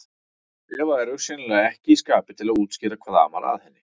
Eva er augsýnilega ekki í skapi til að útskýra hvað amar að henni.